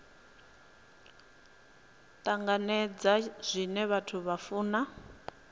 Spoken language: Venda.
tanganedza zwine vhathu vha funa